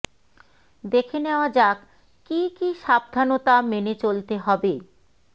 দেখে নেওয়া যাক কী কী সাবধানতা মেনে চলতে হবে